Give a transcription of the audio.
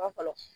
fɔlɔ